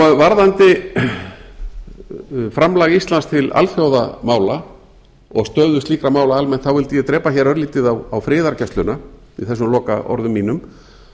varðandi framlag íslands til alþjóðamála og stöðu slíkra mála almennt vildi ég drepa hér örlítið á friðargæsluna í þessum lokaorðum mínum